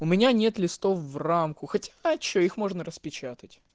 у меня нет листов в рамку хоть а что их можно распечатать